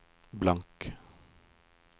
blank